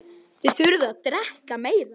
Þið þurfið að drekka meira.